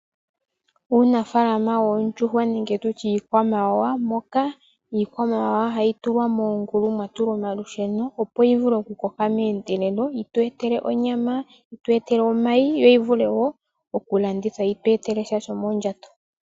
Uunafaalama woondjuhwa nenge tutye iikwamawawa moka iikwamawawa hayi tulwa moongulu mwa tulwa omalusheno opo yi vule okukoka meendelelo yi twe etele onyama, yi twe etele omayi yo yi vule wo okulandithwa yi twe etele sha shomondjato.